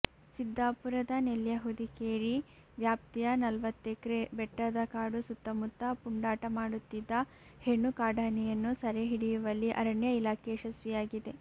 ಸಿದ್ದಾಪುರದ ನೆಲ್ಯಹುದಿಕೇರಿ ವ್ಯಾಪ್ತಿಯ ನಲ್ವತ್ತೆಕ್ರೆ ಬೆಟ್ಟದಕಾಡು ಸುತ್ತಮುತ್ತ ಪುಂಡಾಟ ಮಾಡುತ್ತಿದ್ದ ಹೆಣ್ಣು ಕಾಡಾನೆಯನ್ನು ಸರೆ ಹಿಡಿಯುವಲ್ಲಿ ಅರಣ್ಯ ಇಲಾಖೆ ಯಶಸ್ವಿಯಾಗಿದೆ